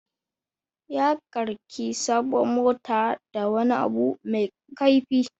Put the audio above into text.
Ya karki sabuwar motata da wani abu mai kaifi.